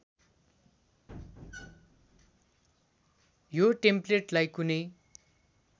यो टेम्प्लेटलाई कुनै